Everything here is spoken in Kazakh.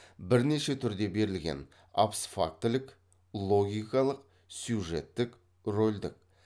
бірнеше түрде берілген абсфактілік логикалық сюжеттік рольдік